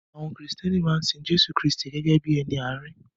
Àwọn Kristẹni maa n sin Jésù Kristi gẹ́gẹ́ bí ẹni àárín.